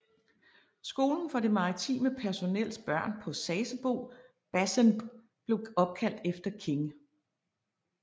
Skolen for det maritime personels børn på Sasebo basenb blev opkaldt efter King